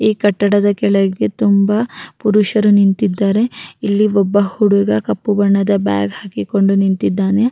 ಈ ಕಟ್ಟಡದ ಕೆಳೆಗೆ ತುಂಬ ಪುರುಷರು ನಿಂತಿದ್ದಾರೆ ಇಲ್ಲಿ ಒಬ್ಬ ಹುಡುಗ ಕಪ್ಪು ಬಣ್ಣದ ಬ್ಯಾಗ್ ಹಾಕಿಕೊಂಡು ನಿಂತಿದ್ದಾನೆ.